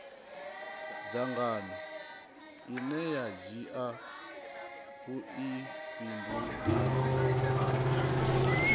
dzangano ine a dzhia vhuifhinduleli